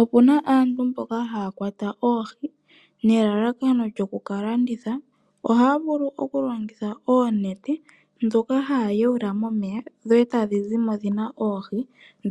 Opuna aantu mboka haya kwata oohi nelalakano lyokuka landitha. Ohaa vulu oku longitha oonete dhoka haya yuula momeya dho etadhi zimo dhina oohi.